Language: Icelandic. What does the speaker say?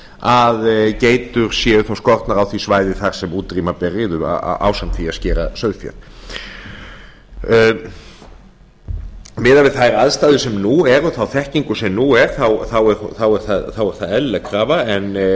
að geitur séu þá konar á því svæði þar sem útrýma ber riðu ásamt því að skera sauðfé miðað við þær aðstæður sem nú eru og þá þekkingu sem nú er þá er það eðlileg krafa en